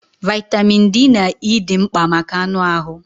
Vaịtamịn D na E dị mkpa maka anụ ahụ.